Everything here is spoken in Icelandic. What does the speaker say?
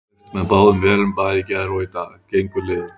Steypt með báðum vélum bæði í gær og í dag, gengur liðugt.